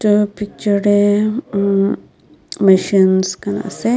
aro picture deh umm machines khan asey.